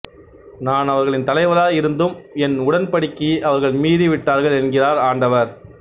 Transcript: நான் அவர்களின் தலைவராய் இருந்தும் என் உடன்படிக்கையை அவர்கள் மீறி விட்டார்கள் என்கிறார் ஆண்டவர்